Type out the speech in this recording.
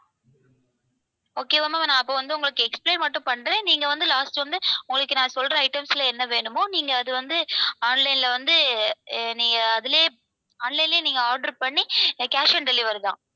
okay வா ma'am நான் அப்போ வந்து உங்களுக்கு explain மட்டும் பண்றேன். நீங்க வந்து last வந்து உங்களுக்கு நான் சொல்ற items ல என்ன வேணுமோ நீங்க அது வந்து online ல வந்து நீங்க அதுலேயே வந்து online லையே நீங்க order பண்ணி cash on delivery தான்.